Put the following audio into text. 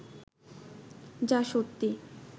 যা সত্যি